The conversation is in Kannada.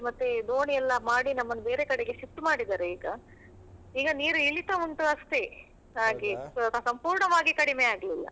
ಮತ್ತೆ ದೋಣಿ ಎಲ್ಲ ಮಾಡಿ ನಮ್ಮನ್ನು ಬೇರೆ ಕಡೆಗೆ shift ಮಾಡಿದ್ದಾರೆ ಈಗ. ಈಗ ನೀರು ಇಳಿತ ಉಂಟು ಅಷ್ಟೇ. ಹಾಗೆ ಸಂಪೂರ್ಣವಾಗಿ ಕಡಿಮೆ ಆಗ್ಲಿಲ್ಲ.